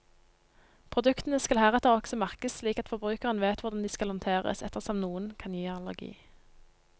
Produktene skal heretter også merkes slik at forbrukeren vet hvordan de skal håndteres, ettersom noen kan gi allergi.